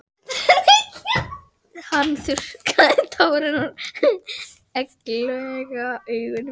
Hann þurrkar tár úr egglaga augunum.